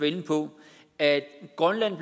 inde på at grønland